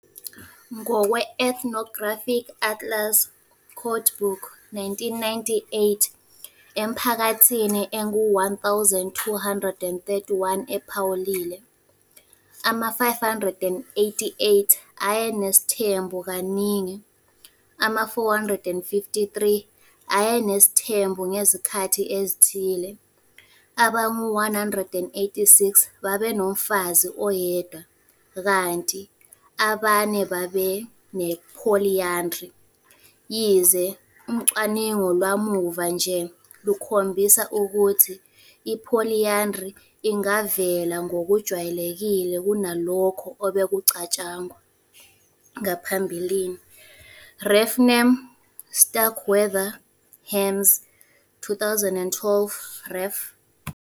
Ngokwe- Ethnographic Atlas Codebook engu-1998, emiphakathini engu-1 231 ephawuliwe, ama-588 ayenesithembu kaningi, ama-453 ayenesithembu ngezikhathi ezithile, abangu-186 babenomfazi oyedwa kanti abane babene-polyandry - yize ucwaningo lwamuva nje lukhombisa ukuthi i-polyandry ingavela ngokujwayelekile kunalokho obekucatshangwa ngaphambili. ref name Starkweather - Hames 2012 ref.